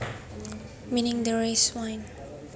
meaning the rice wine